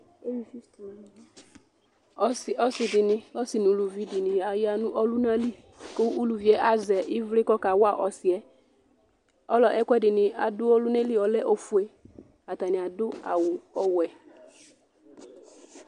Ɔsi nʋ ʋlʋvi di ni aya nʋ ɔluna li kʋ ʋlʋvi ye azɛ ivli kʋ ɔka wa ɔsi yɛ Ɛkʋɛdini adu ɔluna li ɔlɛ ɔfʋe Atani adu awu ɔwɛ